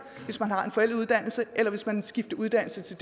hvis man har en forældet uddannelse eller hvis man skifter uddannelse til